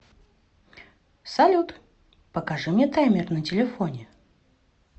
салют покажи мне таймер на телефоне